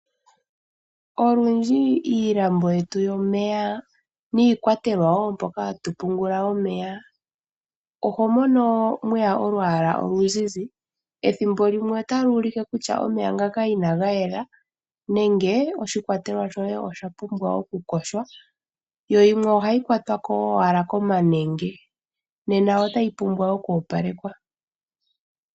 Olundji iilambo yetu yomeya niikwatelwa wo moka hatu pungula omeya oho mono mweya olwaala oluzizi. Ethimbo limwe otayi ulike kutya omeya ngaka inaga yela nenge oshikwatelwa shoye osha pumbwa okuyogwa. Yimwe ohayi kwatwa owala komanenge, nena otayi pumbwa oku opalekwa.